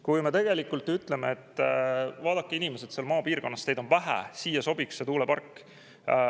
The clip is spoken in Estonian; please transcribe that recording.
Kui me ütleme, et vaadake, inimesed, seal maapiirkonnas teid on vähe, siia sobiks tuulepark.